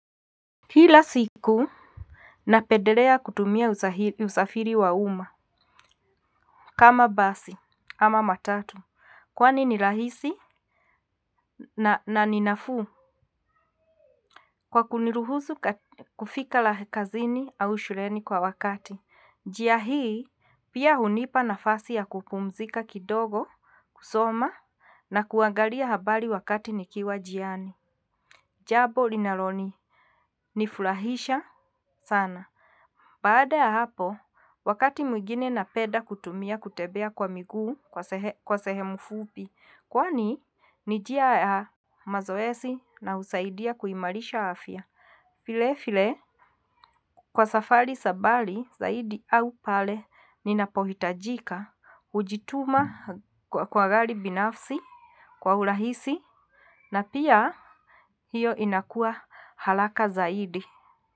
Kila siku napendelea kutumia usafiri wa uma. Kama basi ama matatu kwani ni rahisi na ni nafuu kwa kuniruhusu kufika la kazini au shuleni kwa wakati. Njia hii pia hunipa nafasi ya kupumzika kidogo, kusoma na kuangalia habari wakati nikiwa njiani. Jambo linalo nifurahisha sana. Baada ya hapo, wakati mwigine na penda kutumia kutembea kwa miguu kwa sehemu fupi, kwani ni njia ya mazoezi na husaidia kuimarisha afya. Vile vile, kwa safari za mbali zaidi au pale ninapohitajika, hujituma kwa gari binafsi kwa urahisi na pia hiyo inakua haraka zaidi.